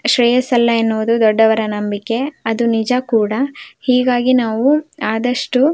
ಶ್ರೇಯಸ್ಸಲ್ಲ ಅನ್ನುವುದು ದೊಡ್ಡವರ ನಂಬಿಕೆ ಹೀಗಾಗಿ ನಾವು ಆದಷ್ಟು --